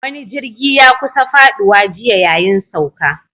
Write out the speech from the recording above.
Wani jirgi ya kusa faɗuwa jiya yayin sauka